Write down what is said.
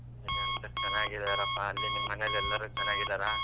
ಹಾ ಎಲ್ಲಾರೂ ಚೆನ್ನಾಗಿ ಇದಾರಪ್ಪ ಅಲ್ಲಿ ನಿಮ್ ಮನೆಯಲ್ಲಿ ಎಲ್ಲರೂ ಚೆನ್ನಾಗಿ ಇದಾರ?